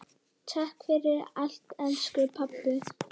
Takk fyrir allt, elsku pabbi.